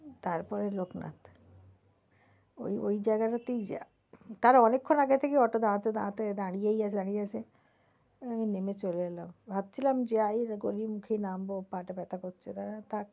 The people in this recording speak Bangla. তারপরে লোকনাথ ওই ওই জায়গাটা তেই jam তার অনেক্ষন আগে থেকেই auto দাঁড়াতে দাঁড়াতে দাঁড়িয়েই আছে দাঁড়িয়েই আছে তাই আমি নেমে চলে এলাম ভাবছিলাম যে ওই গলির মুখেই নামবো পা টা ব্যাথা করছে না থাক